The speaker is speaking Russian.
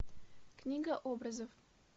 книга образов